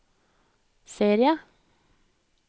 serie